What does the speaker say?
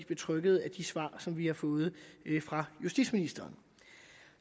betrygget af de svar som vi har fået fra justitsministeren